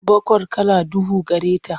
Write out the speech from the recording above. Baqar kala duhu gare ta.